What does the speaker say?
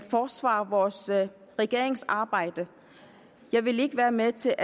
forsvare vores regerings arbejde jeg vil ikke være med til